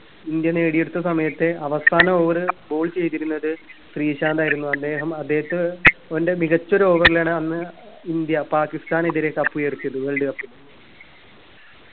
India നേടിയെടുത്ത സമയത്തെ അവസാന over ball ചെയ്തിരുന്നത് ശ്രീശാന്ത് ആയിരുന്നു അദ്ദേഹം അദ്ദേഹത്തെ ഓന്റെ മികച്ചൊരു over ലാണ് അന്ന് ഇന്ത്യ പാകിസ്താനെതിരെ cup ഉയർത്തിയത് world cup